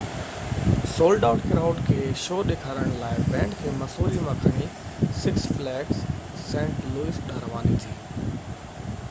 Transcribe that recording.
sold out crowd کي show ڏيکارڻ لاءِ بينڊ کي مسوري مان کڻي سڪس فليگس سينٽ لوئس ڏانهن رواني ٿي